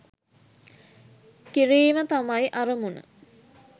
කිරීම තමයි අරමුණ.